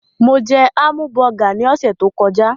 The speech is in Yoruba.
Mo jẹ hámùbọgà ní ọ̀sẹ̀ tó kọjá.